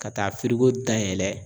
Ka taa dayɛlɛ